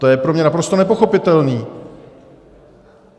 To je pro mě naprosto nepochopitelné.